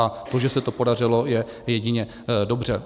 A to, že se to podařilo, je jedině dobře.